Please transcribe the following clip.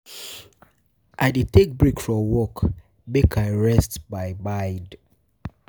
I dey take breaks from work, um make I um rest my um mind.